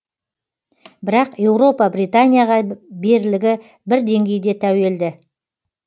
бірақ еуропа британияға берлігі бір деңгейде тәуелді